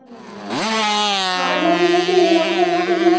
ആ എന്നാ പിന്നെ ശരി നമുക്കെന്നാ പിന്നെ *നോട്ട്‌ ക്ലിയർ* സംസാരിക്കാട്ടോ.